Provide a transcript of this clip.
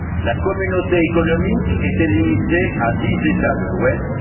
La communauté économique était limitée à dix États de l'ouest.